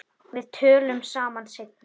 Við tölum saman seinna.